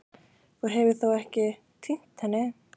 Þú hefur þó ekki. týnt henni?